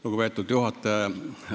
Lugupeetud juhataja!